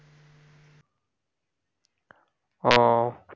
ও